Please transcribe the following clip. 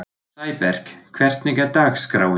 Sæberg, hvernig er dagskráin?